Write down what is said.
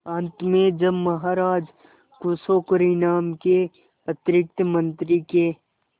अंत में जब महाराज खुश होकर इनाम के अतिरिक्त मंत्री के